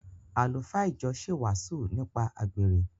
Àlùfáà ìjọ ṣe wàásù nípa àgbèrè.